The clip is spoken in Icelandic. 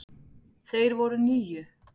Þeir voru níu.